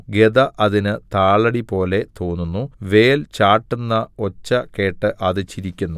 ഗദ അതിന് താളടിപോലെ തോന്നുന്നു വേൽ ചാട്ടുന്ന ഒച്ച കേട്ട് അത് ചിരിക്കുന്നു